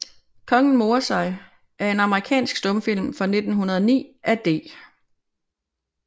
Kongen morer sig er en amerikansk stumfilm fra 1909 af D